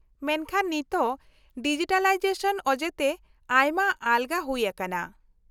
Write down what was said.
-ᱢᱮᱱᱠᱷᱟᱱ ᱱᱤᱛᱚᱜ ᱰᱤᱡᱤᱴᱟᱞᱟᱭᱡᱮᱥᱚᱱ ᱚᱡᱮᱛᱮ ᱟᱭᱢᱟ ᱟᱞᱜᱟ ᱦᱩᱭ ᱟᱠᱟᱱᱟ ᱾